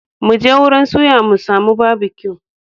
Mu je wurin suya mu sami Barbecue.